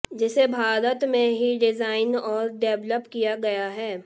जिसे भारत में ही डिजाइन और डेवलप किया गया है